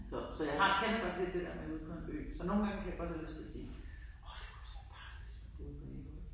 Så så jeg har kender godt det der med ude på en ø så nogengange kan jeg godt have lyst til at sige åh det kunne altså være dejligt, hvis man boede på Ærø